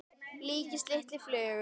líkist lítilli flugu.